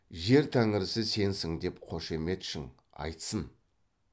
жер тәңірісі сенсің деп қошеметшің айтсын